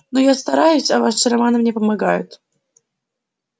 но я стараюсь а ваши романы мне помогают